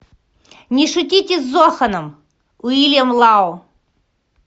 не шутите с зоханом уильям лао